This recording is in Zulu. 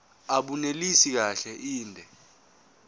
abunelisi kahle inde